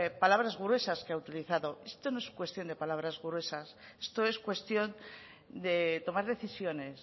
palabras gruesas que ha utilizado esto no es cuestión de palabras gruesas esto es cuestión de tomar decisiones